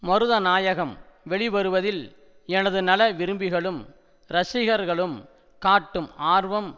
மருதநாயகம் வெளிவருவதில் எனது நல விரும்பிகளும் ரசிகர்களும் காட்டும் ஆர்வம்